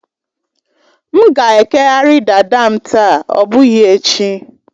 M ga-ekeghari dada m taa, ọ bụghị echi